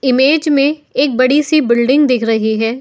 Image में एक बड़ी सी बिल्डिंग दिख रही है।